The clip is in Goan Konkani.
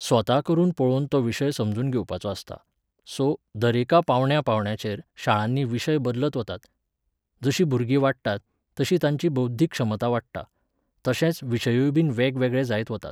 स्वता करून पळोवन तो विशय समजून घेवपाचो आसता. सो, दरेका पावंड्या पावंड्याचेर शाळांनी विशय बदलत वतात. जशीं भुरगीं वाडटात, तशी तांची बौध्दीक क्षमता वाडटा, तशे विशयूयबीन वेगळे वेगळे जायत वतात.